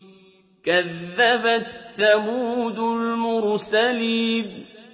كَذَّبَتْ ثَمُودُ الْمُرْسَلِينَ